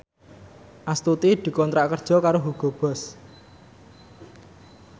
Astuti dikontrak kerja karo Hugo Boss